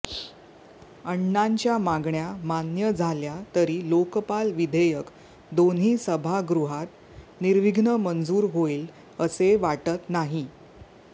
अण्णांच्या मागण्या मान्य झाल्या तरी लोकपाल विधेयक दोन्ही सभागृहात निविर्घ्न मंजूर होईल असे वाटत नाही